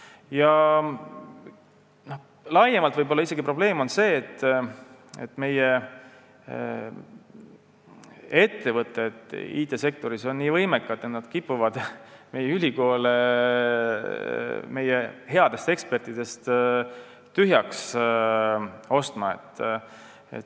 Laiemalt on probleem võib-olla isegi see, et meie ettevõtted on IT-sektoris nii võimekad, et nad kipuvad ülikoole headest ekspertidest tühjaks ostma.